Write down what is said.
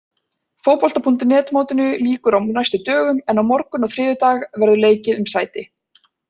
Fótbolta.net mótinu lýkur á næstu dögum en á morgun og þriðjudag verður leikið um sæti.